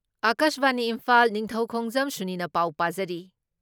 ꯑꯀꯥꯁꯕꯥꯅꯤ ꯏꯝꯐꯥꯜ ꯅꯤꯡꯊꯧꯈꯣꯡꯖꯝ ꯁꯨꯅꯤꯅ ꯄꯥꯎ ꯄꯥꯖꯔꯤ